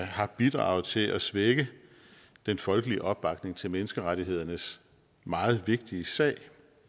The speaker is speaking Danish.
har bidraget til at svække den folkelige opbakning til menneskerettighedernes meget vigtige sag